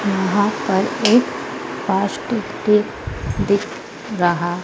यहां पर एक प्लास्टिक टेप दिख रहा--